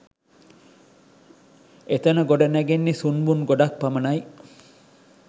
එතන ගොඩගැහෙන්නේ සුන්බුන් ගොඩක් පමණයි.